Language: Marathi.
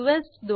इदे वर जाऊ